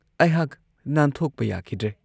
ꯑꯩꯍꯥꯛ ꯅꯥꯟꯊꯣꯛꯄ ꯌꯥꯈꯤꯗ꯭ꯔꯦ ꯫